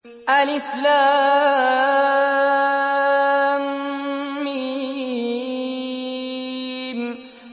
الم